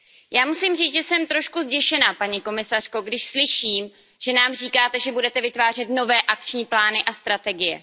Já musím říct, že jsem trošku zděšená, paní komisařko, když slyším, že nám říkáte, že budete vytvářet nové akční plány a strategie.